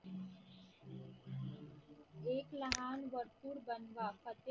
एक लहान भरपूर बनवा